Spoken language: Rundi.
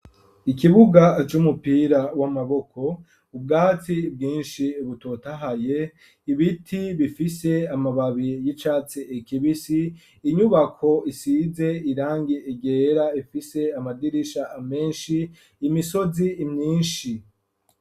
Ikibuga c'umupira w'amaboko ,ubwatsi bwinshi butotahaye ,ibiti bifise amababi y'icatsi kibisi, inyubako isize irangi ryera ifise amadirisha menshi ,imisozi myinshi.